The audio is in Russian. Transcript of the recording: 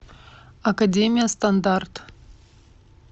академия стандарт